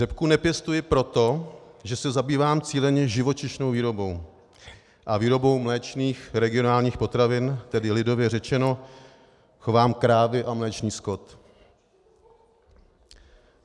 Řepku nepěstuji proto, že se zabývám cíleně živočišnou výrobou a výrobou mléčných regionálních potravin, tedy lidově řečeno chovám krávy a mléčný skot.